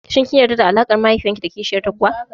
Shin kin gamsu da alaƙar mahaifiyar ki da kishiyar ta kuwa?